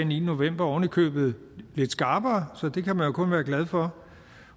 niende november ovenikøbet lidt skarpere så det kan man jo kun være glad for